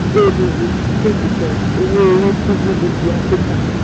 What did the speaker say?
owó orí sí gdp áfíríkà.